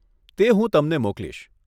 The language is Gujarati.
તે હું તમને મોકલીશ.